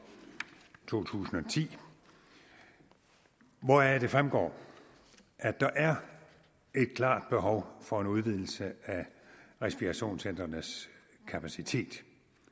to tusind og ti hvoraf det fremgår at der er et klart behov for en udvidelse af respirationscentrenes kapacitet